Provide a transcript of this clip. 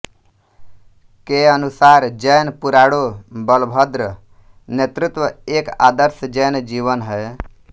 के अनुसार जैन पुराणों बलभद्र नेतृत्व एक आदर्श जैन जीवन है